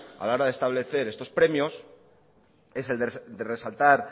a la hora de establecer estos premios es el de resaltar